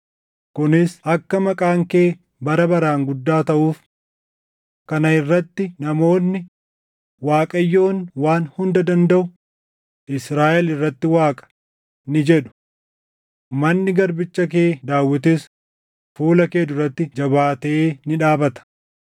kunis akka maqaan kee bara baraan guddaa taʼuuf. Kana irratti namoonni, ‘ Waaqayyoon Waan Hunda Dandaʼu Israaʼel irratti Waaqa!’ ni jedhu. Manni garbicha kee Daawitis fuula kee duratti jabaatee ni dhaabata.